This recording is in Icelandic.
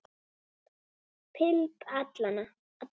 Philip Allan.